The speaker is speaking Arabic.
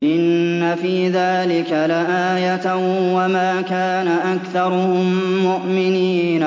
إِنَّ فِي ذَٰلِكَ لَآيَةً ۖ وَمَا كَانَ أَكْثَرُهُم مُّؤْمِنِينَ